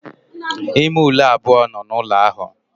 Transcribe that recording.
Ime ule abuo no n'ulo ahu.